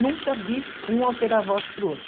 Nunca vi um alterar a voz para o outro.